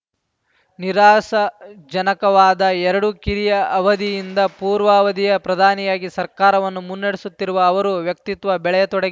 ನಿರಾಶಾಜನಕವಾದ ಎರಡು ಕಿರಿಯ ಅವಧಿಯಿಂದ ಪೂರ್ಣಾವಧಿಯ ಪ್ರಧಾನಿಯಾಗಿ ಸರ್ಕಾರವನ್ನು ಮುನ್ನಡೆಸುತ್ತಿರುವ ಅವರು ವ್ಯಕ್ತಿತ್ವ ಬೆಳೆಯತೊಡಗಿ